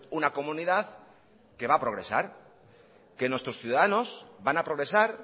una comunidad que va progresar que nuestros ciudadanos van a progresar